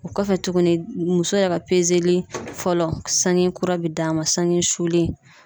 O kɔfɛ tuguni ,muso yɛrɛ ka fɔlɔ sanŋe kura bi d'a ma , sange sulen.